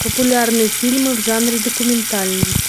популярные фильмы в жанре документальный